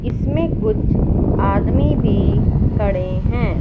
इसमें कुछ आदमी भी खड़े हैं।